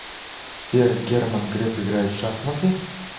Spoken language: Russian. сбер герман греф играет в шахматы